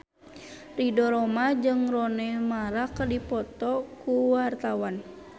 Ridho Roma jeung Rooney Mara keur dipoto ku wartawan